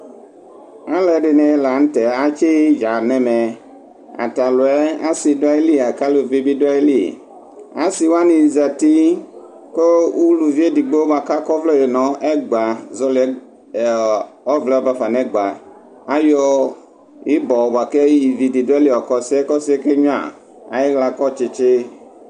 Alʋɛdini lanʋtɛ atsi idza nʋ ɛmɛ ataluɛ asi dʋ ayili lakʋ alʋvi bi dʋa ayili asi wani zati kʋ ʋlʋvi edigbo bʋakʋ akɔ ɔvlɛ nʋ ɛgba azoli ɔvlɛ bafa nʋ ɛgba ayɔ ibɔ bʋakʋ ividi dʋ ayili yɔka ɔsiyɛ kʋ ɔke nyuia ayixla akɔ tsitsi